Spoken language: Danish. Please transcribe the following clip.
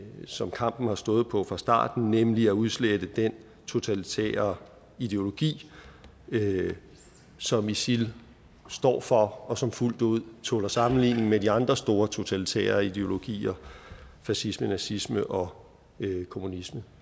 som kampen har stået om fra starten nemlig at udslette den totalitære ideologi som isil står for og som fuldt ud tåler sammenligning med de andre store totalitære ideologier fascisme nazisme og kommunisme